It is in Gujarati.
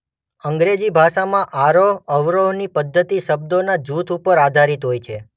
અંગ્રેજી ભાષામાં આરોહ-અવરોહની પદ્ધતિ શબ્દોનાં જૂથ ઉપર આધારિત હોય છે.